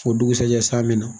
O dugusɛjɛ san bɛna